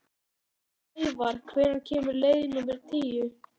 Snævarr, hvenær kemur leið númer tíu?